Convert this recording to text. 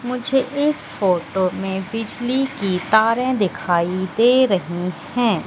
मुझे इस फोटो में बिजली की तारे दिखाई दे रही है।